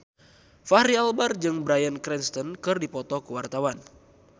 Fachri Albar jeung Bryan Cranston keur dipoto ku wartawan